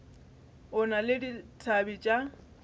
o na le dithabe tša